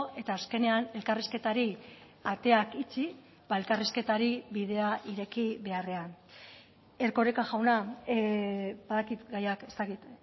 eta azkenean elkarrizketari ateak itxi elkarrizketari bidea ireki beharrean erkoreka jauna badakit gaiak ez dakit